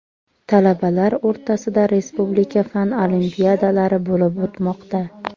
Talabalar o‘rtasida respublika fan olimpiadalari bo‘lib o‘tmoqda.